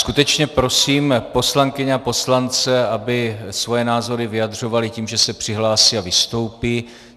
Skutečně prosím poslankyně a poslance, aby svoje názory vyjadřovali tím, že se přihlásí a vystoupí.